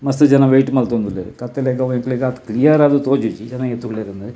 ಮಸ್ತ್ ಜನ ವೈಟ್ ಮಲ್ತೊಂದು ಉಲ್ಲೆರ್ ಕತ್ತಲೆಗ್ ಅವು ಆತ್ ನಿಯರ್ ಆದ್ ತೋಜುಜಿ ಜನ ಏತ್ ಉಲ್ಲೆರ್ ಇಂದ್.